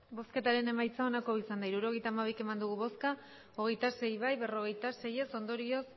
hirurogeita hamabi eman dugu bozka hogeita sei bai berrogeita sei ez ondorioz